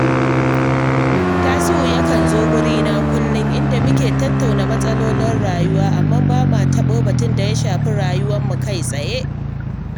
Tasi’u yakan zo wurina kullum, inda muke tattauna mas’alolin rayuwa, amma ba ma taɓo batun da ya shafi rayuwarmu kai-tsaye